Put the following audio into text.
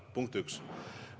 Punkt 1.